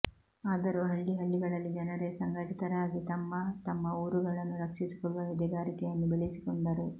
ಆದರೂ ಹಳ್ಳಿ ಹಳ್ಳಿಗಳಲ್ಲಿ ಜನರೇ ಸಂಘಟಿತರಾಗಿ ತಮ್ಮ ತಮ್ಮ ಊರುಗಳನ್ನು ರಕ್ಷಿಸಿಕೊಳ್ಳುವ ಎದೆಗಾರಿಕೆಯನ್ನು ಬೆಳೆಸಿಕೊಂಡರು